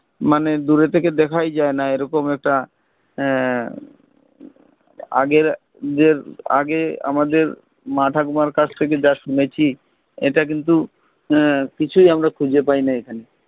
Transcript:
মানে দূরে থেকে দেখাই যাই না এইরকম একটা আহ আগের যে আগে আমাদের মা ঠাকুমার কাছ থেকে যা শুনেছি এটা কিন্তু আহ কিছুই আমার খুঁজে পাই না এখানে